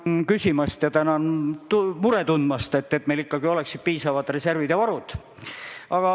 Tänan küsimast ja tänan muret tundmast, et meil ikkagi oleksid piisavad reservid ja varud.